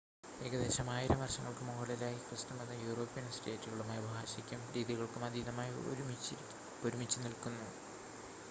ഏകദേശം ആയിരം വർഷങ്ങൾക്ക് മുകളിലായി ക്രിസ്തുമതം യൂറോപ്യൻ സ്റ്റേറ്റുകളുമായി ഭാഷക്കും രീതികൾക്കും അതീതമായി ഒരുമിച്ചുനിൽക്കുന്നു